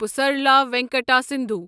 Pusarla Venkata Sindhu